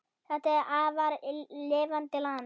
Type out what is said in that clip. Þetta er afar lifandi land.